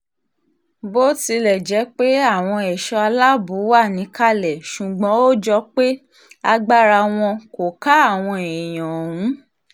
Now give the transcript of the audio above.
bó tilẹ̀ jẹ́ pé àwọn ẹ̀ṣọ́ aláàbò wà níkàlẹ̀ ṣùgbọ́n ó jọ pé agbára wọn kò ká àwọn èèyàn ọ̀hún